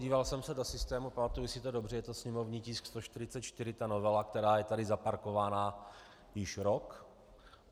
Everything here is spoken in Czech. Díval jsem se do systému, pamatuji si to dobře, je to sněmovní tisk 144, ta novela, která je tady zaparkovaná již rok.